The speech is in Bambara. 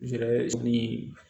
ni